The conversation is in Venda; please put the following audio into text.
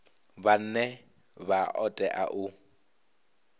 vhane vha o tea u